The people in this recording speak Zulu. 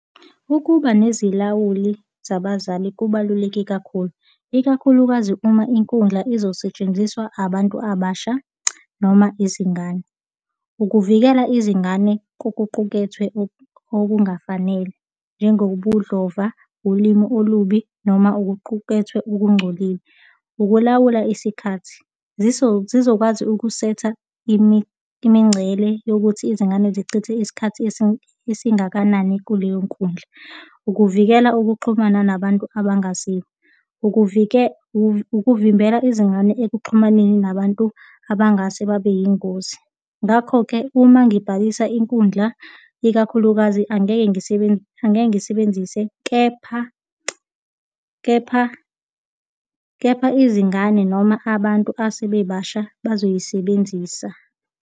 Ukuba nezilawuli zabazali kubaluleke kakhulu, ikakhulukazi uma inkundla izosetshenziswa abantu abasha noma izingane. Ukuvikela izingane kokuqukethwe okungafanele njengobudlova, ulimi olubi noma okuqukethwe okungcolile. Ukulawula isikhathi. zizokwazi ukusetha imingcele yokuthi izingane zichithe isikhathi esingakanani kuleyo nkundla. Ukuvikela ukuxhumana nabantu abangaziwa. Ukuvimbela izingane ekuxhumaneni nabantu abangase babe yingozi. Ngakho-ke, uma ngibhalisa inkundla, ikakhulukazi angeke angeke ngisebenzise, kepha, kepha, kepha izingane noma abantu asebebasha, bazoyisebenzisa.